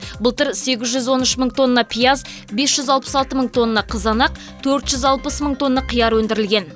былтыр сегіз жүз он үш мың тонна пияз бес жүз алпыс алты мың тонна қызанақ төрт жүз алпыс мың тонна қияр өндірілген